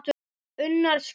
Unnur Skúla.